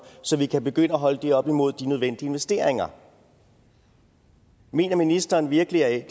så vi kan begynde at holde det op imod de nødvendige investeringer mener ministeren virkelig at